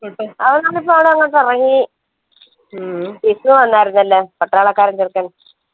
അവൻ വിഷുവായിരുന്നല്ലോ പട്ടാളക്കാർക്കൊക്കെ